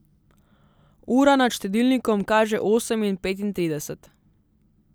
Ura nad štedilnikom kaže osem in petintrideset.